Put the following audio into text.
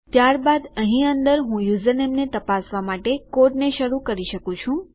ત્યારબાદ અહીં અંદર હું યુઝરનેમને તપાસવા માટે કોડને શરૂ કરી શકું છું